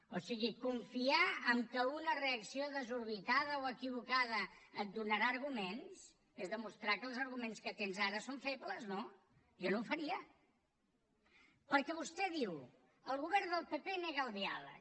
o sigui confiar que una reacció desorbitada o equivocada et donarà arguments és demostrar que els arguments que tens ara són febles no jo no ho faria perquè vostè diu el govern del pp nega el diàleg